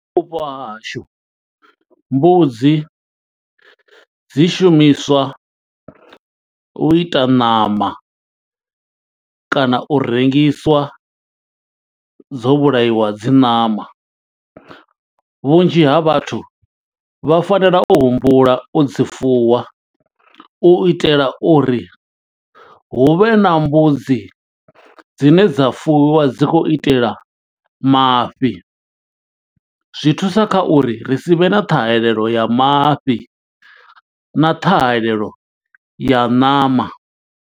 Kha Vhupo ha hashu, mbudzi dzi shumiswa u ita ṋama kana u rengiswa dzo vhulaiwa dzi ṋama. Vhunzhi ha vhathu vha fanela u humbula u dzi fuwa, u itela uri hu vhe na mbudzi dzine dza fuwiwa dzi khou itela mafhi. Zwi thusa kha uri, ri si vhe na ṱhahelelo ya mafhi, na ṱhahelelo ya ṋama.